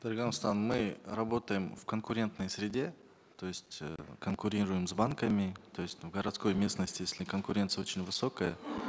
дарига нурсултановна мы работаем в конкурентной среде то есть э конкурируем с банками то есть в городской местности если конкуренция очень высокая